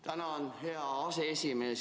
Tänan, hea aseesimees!